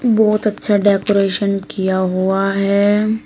बहोत अच्छा डेकोरेशन किया हुआ है।